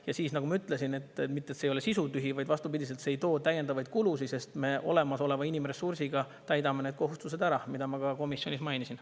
Ja nagu ma ütlesin, mitte see ei ole sisutühi, vaid vastupidi, see ei too täiendavaid kulusid, sest me olemasoleva inimressursiga täidame need kohustused ära, mida ma ka komisjonis mainisin.